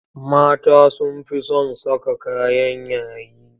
Mata sun fi son saka kayan yayi.